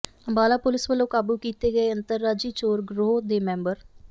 Ambala police ਵੱਲੋਂ ਕਾਬੂ ਕੀਤੇ ਗਏ ਅੰਤਰਰਾਜੀ ਚੋਰ ਗਰੋਹ ਦੇ ਮੈਂਬਰ